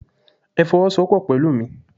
Ẹ fowosowopo pẹ̀lú mi!